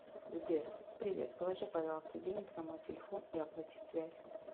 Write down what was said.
сбер привет положи пожалуйста денег на мой телефон и оплати связь